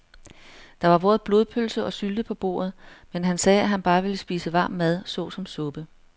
Der var både blodpølse og sylte på bordet, men han sagde, at han bare ville spise varm mad såsom suppe.